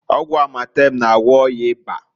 Ọgwụ amatem na-agwọ ọya ịba.